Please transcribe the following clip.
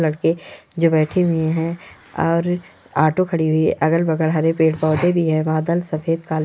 जो बैठी हुई है और ऑटो खड़ी हुई है अगल-बगल हरे पेड़-पौधे भी है बादल सफ़ेद काले है।